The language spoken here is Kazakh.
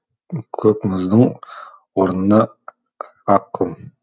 көк мұздың орнына ақ құм